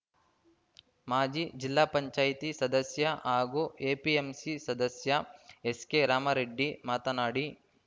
ಮಾಜಿ ಜಿಲ್ಲಾ ಪಂಚಾಯತಿ ಸದಸ್ಯ ಹಾಗೂ ಎಪಿಎಂಸಿ ಸದಸ್ಯ ಎಸ್‌ಕೆರಾಮರೆಡ್ಡಿ ಮಾತನಾಡಿ